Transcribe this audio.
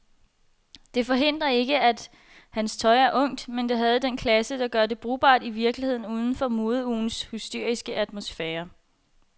Det forhindrer ikke, at hans tøj er ungt, men det havde den klasse, der gør det brugbart i virkeligheden uden for modeugens hysteriske atmosfære.